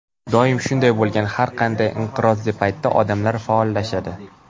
Doim shunday bo‘lgan: har qanday inqirozli paytda odamlar faollashadi”.